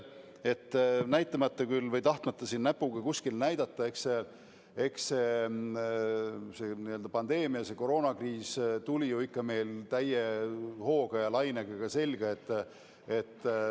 Ma ei taha siin kellegi peale näpuga näidata, eks see pandeemia, koroonakriis, tuli meile ikka täie hooga selga.